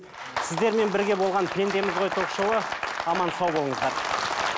сіздермен бірге болған пендеміз ғой ток шоуы аман сау болыңыздар